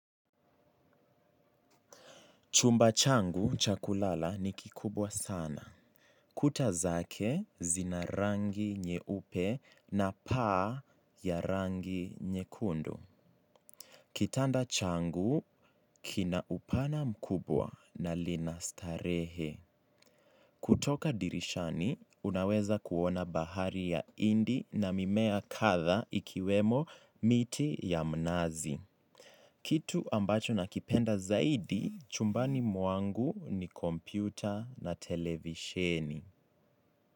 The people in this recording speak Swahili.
Chumba changu chakulala ni kikubwa sana. Kuta zake zina rangi nyeupe na paa ya rangi nyekundu. Kitanda changu kina upana mkubwa na lina starehe. Kutoka dirishani, unaweza kuona bahari ya indi na mimea katha ikiwemo miti ya mnazi. Kitu ambacho nakipenda zaidi chumbani mwangu ni kompyuta na televisheni.